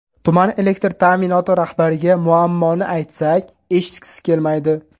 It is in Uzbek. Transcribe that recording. Tuman elektr ta’minoti rahbariga muammoni aytsak, eshitgisi kelmaydi.